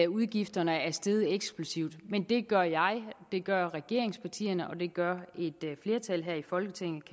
udgifterne er steget eksplosivt men det gør jeg det gør regeringspartierne og det gør et flertal her i folketinget